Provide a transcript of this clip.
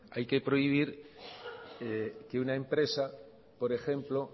hay que prohibir que una empresa por ejemplo